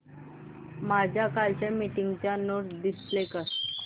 माझ्या कालच्या मीटिंगच्या नोट्स डिस्प्ले कर